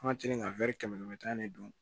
An ka teli ka kɛmɛ tan ne don